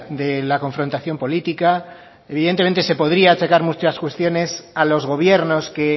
de la confrontación política evidentemente se podría achacar muchas cuestiones a los gobiernos que